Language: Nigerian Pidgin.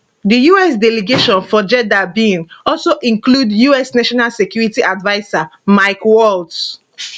di us delegation for jeddah bin also include us national security adviser mike waltz